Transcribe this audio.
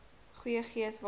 goeie gees waarin